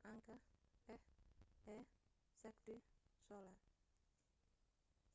caanka ah ee cirque du soleil